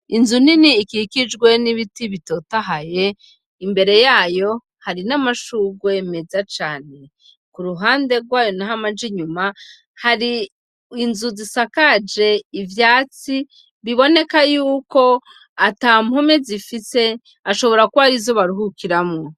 Inzu nini ikikijwe n'ibiti bitotahaye imbere yayo hari n'amashurwe meza cane ku ruhande rwayo amaja inyuma hari inzu zisakaje ivyatsi biboneka yuko atampome zifise ashobora kuba arizo baruhukiramwo.